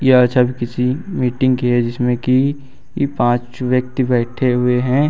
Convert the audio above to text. यह छवि किसी मीटिंग की है जिसमें की ई पांच व्यक्ति बैठे हुए हैं।